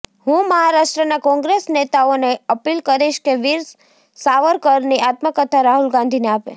હું મહારાષ્ટ્રના કોંગ્રેસ નેતાઓને અપીલ કરીશ કે વીર સાવરકરની આત્મકથા રાહુલ ગાંધીને આપે